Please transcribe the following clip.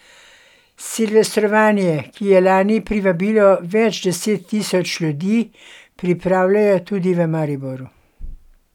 Silvestrovanje, ki je lani privabilo več deset tisoč ljudi, pripravljajo tudi v Mariboru.